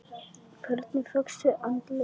Hvernig fékkstu andlegan styrk?